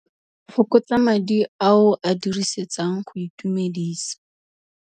Fokotsa madi a o a dirisetsang go itumedisa.